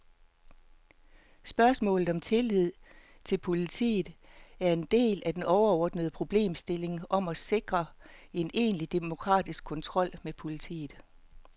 Spørgsmålet om tilliden til politiet er en del af den overordnede problemstilling om at sikre en egentlig demokratisk kontrol med politiet.